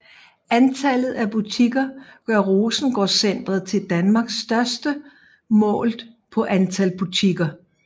Antallet af butikker gør Rosengårdcentret til Danmarks største målt på antal butikker